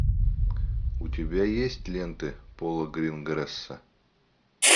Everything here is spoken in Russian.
у тебя есть ленты пола гринграсса